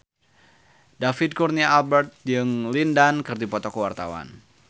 David Kurnia Albert jeung Lin Dan keur dipoto ku wartawan